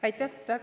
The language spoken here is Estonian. Aitäh!